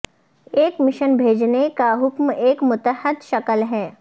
ایک مشن بھیجنے کا حکم ایک متحد شکل ہے